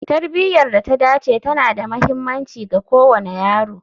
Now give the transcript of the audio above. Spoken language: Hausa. Tarbiyar da ta dace tana da mahimmanci ga kowane yaro